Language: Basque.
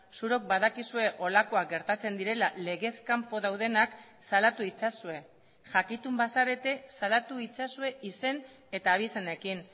zuok badakizue holakoak gertatzen direla legez kanpo daudenak salatu itzazue jakitun bazarete salatu itzazue izen eta abizenekin